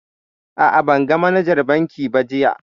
A'a, ban ga manajar bankin ba jiya